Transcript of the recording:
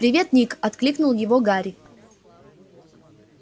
привет ник окликнул его гарри